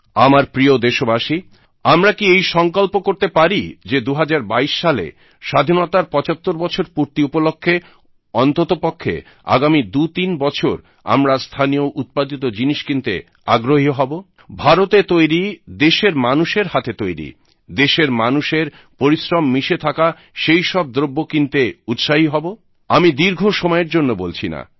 আমার প্রিয় দেশবাসী আমরা কি এই সংকল্প করতে পারি যে 2022 সালে স্বাধীনতার 75 বছর পূর্তি উপলক্ষ্যে অন্ততপক্ষে আগামী 23 বছর আমরা স্থানীয় উৎপাদিত জিনিস কিনতে আগ্রহী হব ভারতে তৈরি দেশের মানুষের হাতে তৈরি দেশের মানুষের পরিশ্রম মিশে থাকা সেইসব দ্রব্য কিনতে উৎসাহী হব আমি দীর্ঘ সময়ের জন্য বলছি না